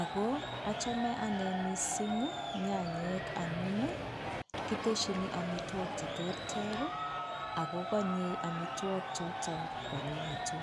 ako achame ane mising nyanyek amun kiteshini amitwok cheterter, ako konye amitwok choto kwonyinyitu.